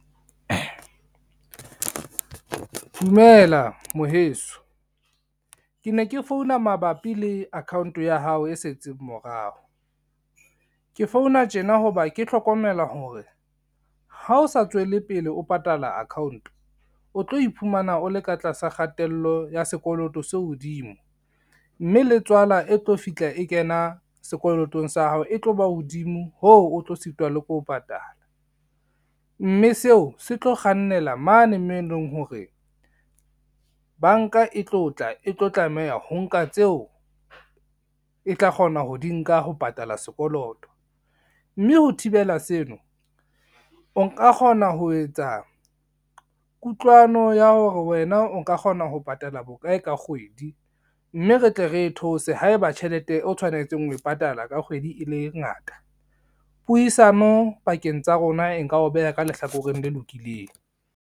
Dumela mo heso. Ke ne ke founa mabapi le account ya hao e setseng morao, ke founa tjena ho ba ke hlokomela hore ha o sa tswele pele o patala account o tlo iphumana o le ka tlasa kgatello ya sekoloto se hodimo, mme le tswala e tlo fihla e kena sekolotong sa hao e tlo ba hodimo hoo o tlo sitwa le ke ho patala, mme seo se tlo kgannela mane moo eleng hore banka e tlo tla e tlo tlameha ho nka tseo e tla kgona ho di nka ho patala sekoloto. Mme ho thibela seno o nka kgona ho etsa kutlwano ya hore wena o ka kgona ho patala bokae ka kgwedi, mme re tle re e theose haeba tjhelete o tshwanetseng ho e patala ka kgwedi e le ngata, puisano pakeng tsa rona e nka o beha ka lehlakoreng le lokileng.